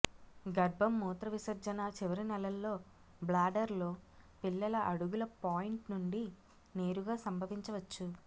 గర్భం మూత్రవిసర్జన చివరి నెలల్లో బ్లాడర్ లో పిల్లల అడుగుల పాయింట్ నుండి నేరుగా సంభవించవచ్చు